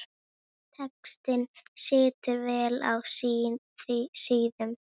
Textinn situr vel á síðum.